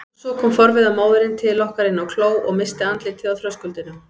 Og svo kom forviða móðirin til okkar inn á kló og missti andlitið á þröskuldinum.